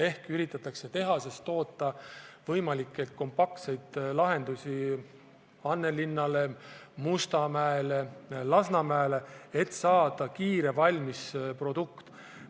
Tehases üritatakse toota võimalikke kompaktseid lahendusi Annelinnale, Mustamäele, Lasnamäele, et saada kiiresti valmisprodukt.